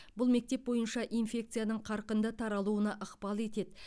бұл мектеп бойынша инфекцияның қарқынды таралуына ықпал етеді